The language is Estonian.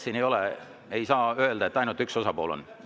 Siin ei saa öelda, et ainult üks osapool on süüdi.